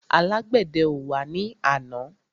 Alágbèdẹ ò wá ní àná.